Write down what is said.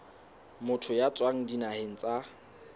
motho ya tswang dinaheng tsa